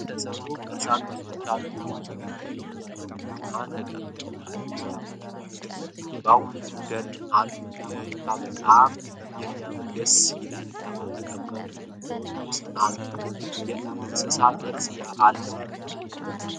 ከድንገይ የተሰሩ ቅርሳቅርሶች አሉ። ብዙ ድንጋዮች የቆሙ እና የተቀመጡ አሉ። ሳሮች እና ከበስተጀርባደን አሉ። ይህ ቦታ በጣም ያምራል ደስ ይላል። ከተቀመጡት ድንጋዮች ውስጥ አንዷ የእንስሳት ቅርፅ አላት።